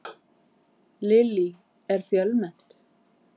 Lillý, er fjölmennt?